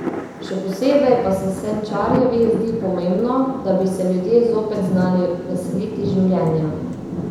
Še posebej pa se Senčarjevi zdi pomembno, da bi se ljudje zopet znali veseliti življenja.